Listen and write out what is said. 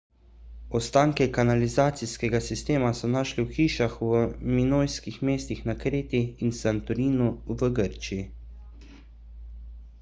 ostanke kanalizacijskega sistema so našli v hišah v minojskih mestih na kreti in santorinu v grčiji